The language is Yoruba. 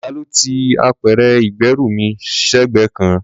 Ta ló ti apẹ̀rẹ̀ ìgbẹ́rù mí sẹ́gbẹ̀ẹ́ kan?